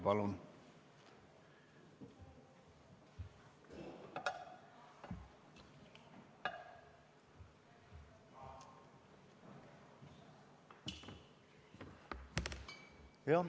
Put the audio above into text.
Palun!